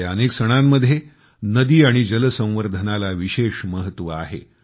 आपल्या अनेक सणांमध्ये नदी आणि जल संवर्धनाला विशेष महत्व आहे